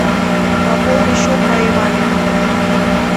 пополни счет моей маме